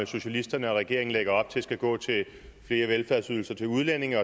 socialisterne og regeringen lægger op til skal gå til flere velfærdsydelser til udlændinge